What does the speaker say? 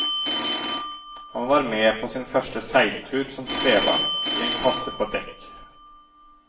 Han var med på sin første seiltur som spebarn, i en kasse på dekk.